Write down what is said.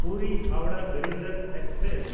ᱯᱩᱨᱤ–ᱦᱟᱣᱲᱟᱦ Garib Rath express